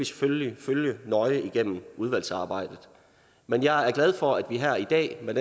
selvfølgelig følge nøje igennem udvalgsarbejdet men jeg er glad for at vi her i dag med